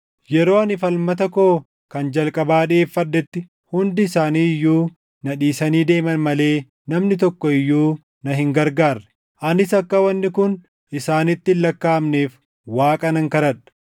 Yeroo ani falmata koo kan jalqabaa dhiʼeeffadhetti hundi isaanii iyyuu na dhiisanii deeman malee namni tokko iyyuu na hin gargaarre. Anis akka wanni kun isaanitti hin lakkaaʼamneef Waaqa nan kadhadha.